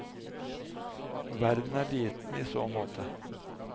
Verden er liten i så måte.